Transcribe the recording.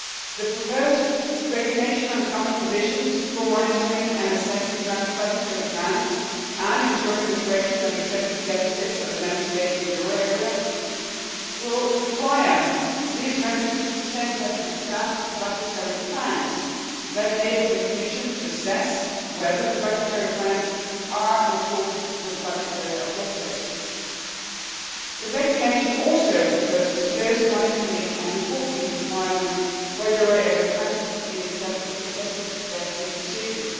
The proposed regulation on common provisions for monitoring and assessing draft budgetary plans and ensuring the correction of excessive deficits of the Member States in the euro area will require these countries to present their draft budgetary plans, which will enable the Commission to assess whether the budgetary plans are in accordance with budgetary objectives. The regulation also proposes closer monitoring and reporting requirements for euro area countries in an excessive deficit procedure.